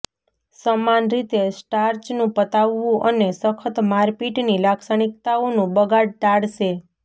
સમાન રીતે સ્ટાર્ચનું પતાવવું અને સખત મારપીટની લાક્ષણિકતાઓનું બગાડ ટાળશે